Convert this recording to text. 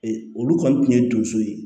Olu kɔni tun ye donso ye